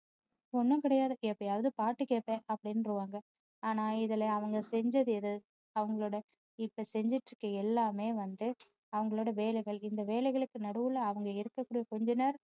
ஒண்ணும் கிடையாது எப்போதாவது பாட்டு கேப்பேன் அப்படின்றுவாங்க ஆனா இதுல அவங்க செஞ்சது எது அவங்களோட இப்போ செஞ்சுட்டு இருக்குற எல்லாமே வந்து அவங்களோட வேலைகள் இந்த வேலைகளுக்கு நடுவுல அவங்க எடுக்ககூடிய கொஞ்ச நேர